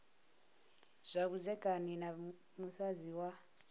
zwa vhudzekani na musadzi wa